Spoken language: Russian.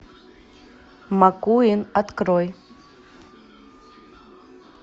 маккуин открой